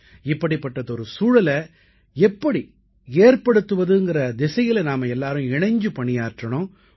இப்படிப்பட்டதொரு சூழலை எப்படி ஏற்படுத்துவதுங்கற திசையில நாம எல்லாரும் இணைஞ்சு பணியாற்றணும்